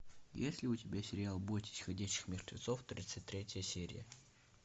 есть ли у тебя сериал бойтесь ходячих мертвецов тридцать третья серия